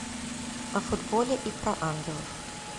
о футболе и про ангелов